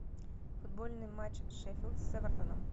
футбольный матч шеффилд с эвертоном